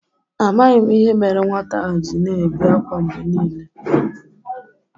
Amaghị m ihe mere nwata ahụ ji na-ebe akwa mgbe niile.